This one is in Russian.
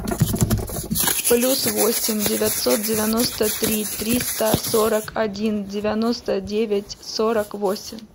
плюс восемь девятьсот девяносто три триста сорок один девяносто девять сорок восемь